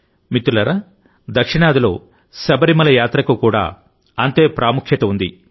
మిత్రులారాదక్షిణాదిలోశబరిమల యాత్రకు కూడా అంతే ప్రాముఖ్యత ఉంది